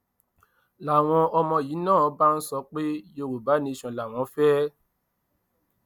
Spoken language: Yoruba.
làwọn ọmọ yìí náà bá ń sọ pé yorùbá nation làwọn fẹ